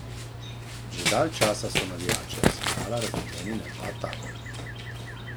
Že dalj časa so navijači Arsenala razdeljeni na dva tabora.